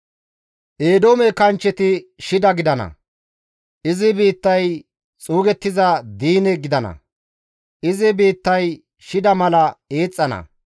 Eedoome kanchcheti shida gidana; izi biittay xuugettiza diine gidana; izi biittay shida mala eexxana.